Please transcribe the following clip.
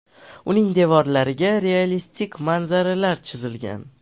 Uning devorlariga realistik manzaralar chizilgan.